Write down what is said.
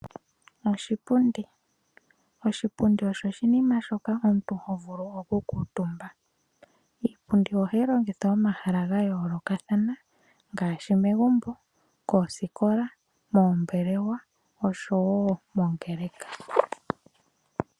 Oshipundi, oshipundi osho oshinima shoka omuntu ho vulu oku kuutumba. Iipundi oha yi longithwa mo mahala ga yoolokathana ngaashi, megumbo, koosikola, moombelewa oshowo moongeleka.